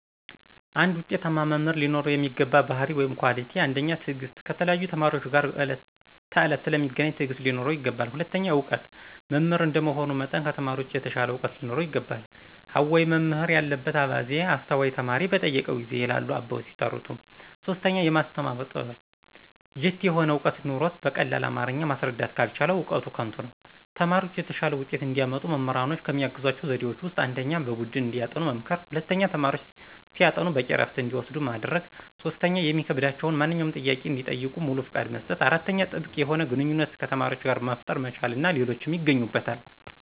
አንድ ውጤታማ መምህር ሊኖረው የሚገባ ባህርይ(Quality)፦ ፩) ትዕግስት፦ ከተለያዩ ተማሪዎች ጋር በዕለት ተዕለት ስለሚገናኝ ትዕግስት ሊኖረው ይገባል። ፪) እውቀት፦ መምህር እንደመሆኑ መጠን ከተማሪዎች የተሻለ ዕውቀት ሊኖረው ይገባል።" አዋይ መምህር ያለበት አባዜ፤ አስተዋይ ተማሪ በጠየቀው ጊዜ" ይላሉ አበው ሲተርቱ። ፫) የማስተማር ጥበብ፦ ጅት የሆነ ዕውቀት ኑሮት በቀላል አማረኛ ማስረዳት ካልቻለ እውቀቱ ከንቱ ነው። ተማሪዎች የተሻለ ውጤት እንዲያመጡ መምህራኖች ከሚያግዟቸው ዘዴዎች ውስጥ፦ ፩) በቡድን እንዲያጠኑ መምከር። ፪) ተማሪዎች ሲያጠኑ በቂ እረፍት እንዲወስዱ ማድረግ። ፫) የሚከብዳቸውን ማንኛውንም ጥያቄ እንዲጠይቁ ሙሉ ፍቃድ መስጠት። ፬)ጥብቅ የሆነ ግንኙነት ከተማሪዎች ጋር መፍጠር መቻል እና ሌሎችም ይገኙበታል።